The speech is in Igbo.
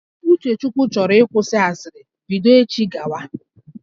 Uchechukwu chọrọ ịkwụsị asịrị bido echi gawa